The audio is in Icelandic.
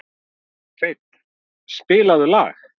Hreinn, spilaðu lag.